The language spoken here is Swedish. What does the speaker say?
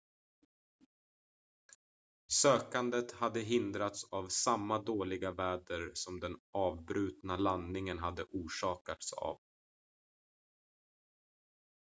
sökandet hade hindrats av samma dåliga väder som den avbrutna landningen hade orsakats av